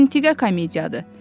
Əntiqə komediyadır.